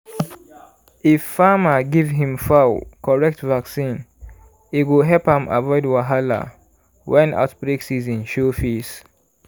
if farmer give him fowl correct vaccine e go help am avoid wahala when outbreak season show face.